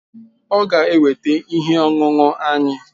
Ọ ga-eweta ihe ọṅụṅụ anyị